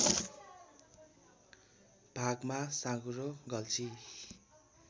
भागमा साँगुरो गल्छी